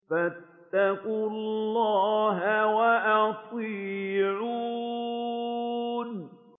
فَاتَّقُوا اللَّهَ وَأَطِيعُونِ